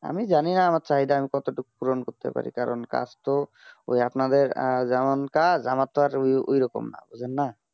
আমি জানি আমার চাই তা আমি কত টুক পূরণ করতে পারি কারণ কাজ তো ওই আপনার দের যেমন কাজ আমার তা আর ঐই রকম না ঐই জন্যে